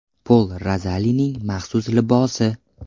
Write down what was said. Pol Rozolining maxsus libosi.